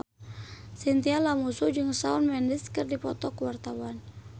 Chintya Lamusu jeung Shawn Mendes keur dipoto ku wartawan